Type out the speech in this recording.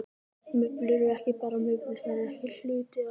Mublur eru ekki bara mublur, þær eru hluti af.